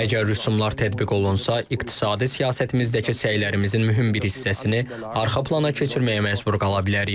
Əgər rüsumlar tətbiq olunsa, iqtisadi siyasətimizdəki səylərimizin mühüm bir hissəsini arxa plana keçirməyə məcbur qala bilərik.